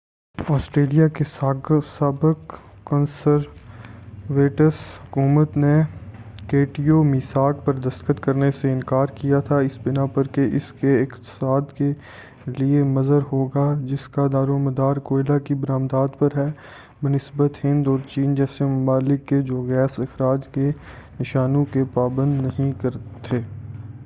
Australia کی سابق conservatives حکومت نے کیوٹو میثاق پر دستخط کرنے سے انکار کیا تھا اس بنا پر کہ یہ اس کے اقتصاد کے لئے مضر ہوگا جس کا دار و مدار کوئلہ کی بر آمدات پر ہے بہ نسبت ہند اور چین جیسے ممالک کے جو گیس اخراج کے نشانوں کے پابند نہیں تھے